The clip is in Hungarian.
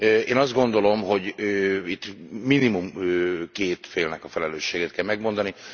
Én azt gondolom, hogy itt minimum két félnek a felelősségét kell kimondani.